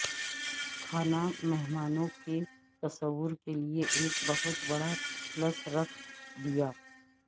کھانا مہمانوں کے تصور کے لئے ایک بہت بڑا پلس رکھ دیا